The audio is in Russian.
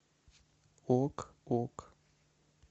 ок ок